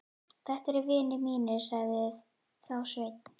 Þetta eru vinir mínir, sagði þá Sveinn.